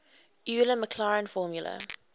euler maclaurin formula